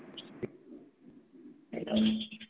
এবং